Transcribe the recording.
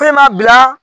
Fɛnɛ b'a bila